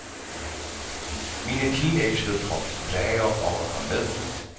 Mine teenagedøtre plager om at komme med.